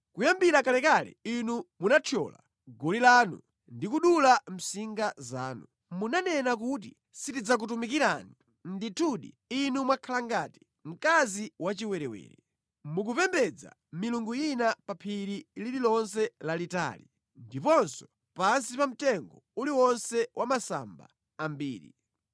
“Kuyambira kalekale inu munathyola goli lanu ndi kudula msinga zanu; munanena kuti, ‘Sitidzakutumikirani!’ Ndithudi, inu mwakhala ngati mkazi wachiwerewere. Mukupembedza milungu ina pa phiri lililonse lalitali ndiponso pansi pa mtengo uliwonse wa masamba ambiri.